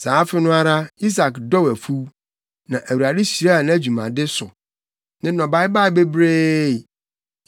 Saa afe no ara Isak dɔw afuw. Na Awurade hyiraa nʼadwumade so. Ne nnɔbae baa bebree.